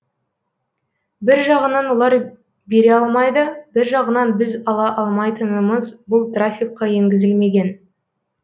бір жағынан олар бере алмайды бір жағынан біз ала алмайтынымыз бұл трафиққа енгізілмеген